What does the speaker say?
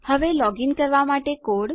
હવે લોગીન કરવા માટે કોડ